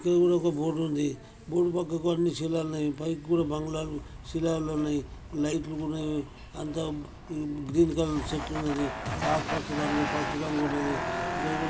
ఇక్కడ కూడా ఒక బోర్డు ఉంది బోర్డు పక్క అన్నీ శిలాలు ఉన్నాయి. పై కూడా బంగ్లాలో శిలాలు ఉన్నాయి. లైట్ ట్లు కూడా అద్ద గ్రీన్ కలర్ చెట్లు ఉన్నాయి. ఆకుపచ్చ రంగు పసుపు రంగు ఉన్నది ఇక్కడ కూడా--